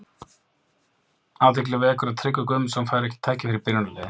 AThygli vekur að Tryggvi Guðmundsson fær ekki tækifæri í byrjunarliði.